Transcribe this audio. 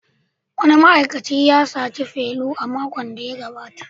Wani ma'aikacin ya saci felu a makon da ya gabata